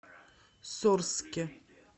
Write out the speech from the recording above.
сорске